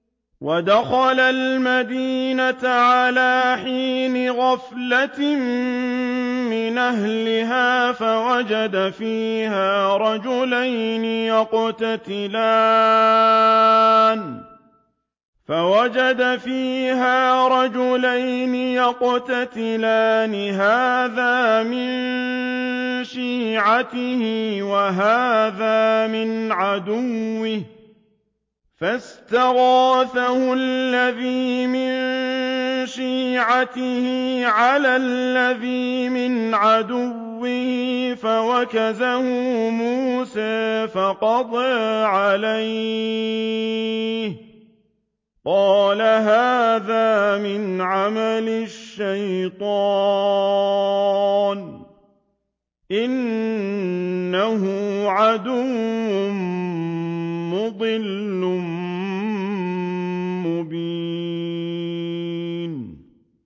وَدَخَلَ الْمَدِينَةَ عَلَىٰ حِينِ غَفْلَةٍ مِّنْ أَهْلِهَا فَوَجَدَ فِيهَا رَجُلَيْنِ يَقْتَتِلَانِ هَٰذَا مِن شِيعَتِهِ وَهَٰذَا مِنْ عَدُوِّهِ ۖ فَاسْتَغَاثَهُ الَّذِي مِن شِيعَتِهِ عَلَى الَّذِي مِنْ عَدُوِّهِ فَوَكَزَهُ مُوسَىٰ فَقَضَىٰ عَلَيْهِ ۖ قَالَ هَٰذَا مِنْ عَمَلِ الشَّيْطَانِ ۖ إِنَّهُ عَدُوٌّ مُّضِلٌّ مُّبِينٌ